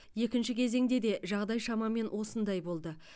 екінші кезеңде де жағдай шамамен осындай болды